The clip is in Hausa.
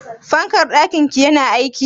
Fankar ɗakin ki yana aiki?